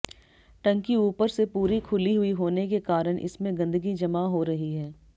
टंकी ऊपर से पूरी खुली हुई होने के कारण इसमें गन्दगी जमा हो रही है